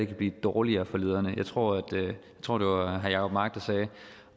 kan blive dårligere for lederne jeg tror tror det var herre jacob mark der sagde